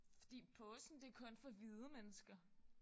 Fordi påsken det er kun for hvide mennesker